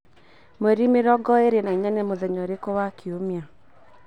mweri mĩrongo ĩĩrĩ na inya ni mutheya uriku wa kiumia